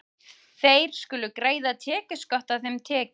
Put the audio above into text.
Þeir skulu greiða tekjuskatt af þeim tekjum.